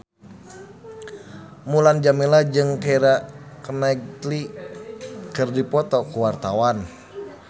Mulan Jameela jeung Keira Knightley keur dipoto ku wartawan